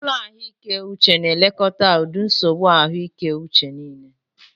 Ụlọ ahụike uche na elekọta ụdị nsogbu ahụike uche niile.